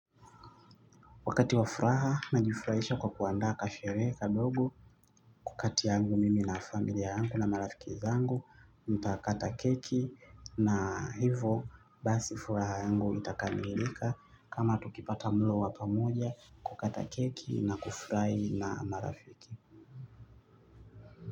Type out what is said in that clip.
Wakati wafuraha najifurahisha kwa kuandaa kasherehe kadogo. Wakati yangu mimi na familia yangu na marafiki zangu mtakata keki na hivo basi furaha yangu itakamilika kama tukipata mlo wa pamoja tukikata keki na kufurahia na marafiki.